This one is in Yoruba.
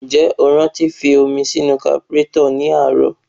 Ǹjẹ́ o rántí fi omi sí kaburétọ̀ ní àárọ̀?